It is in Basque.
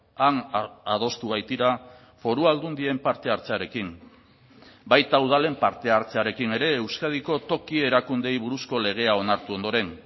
han adostu baitira foru aldundien parte hartzearekin baita udalen parte hartzearekin ere euskadiko toki erakundeei buruzko legea onartu ondoren